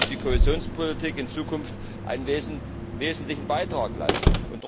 Dazu muss die Kohäsionspolitik in Zukunft einen wesentlichen Beitrag leisten.